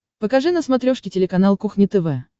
покажи на смотрешке телеканал кухня тв